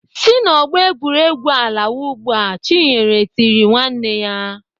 "Si n'ọgbọ egwuregwu a lawa ugbu a!" Chinyere tiri nwanne ya.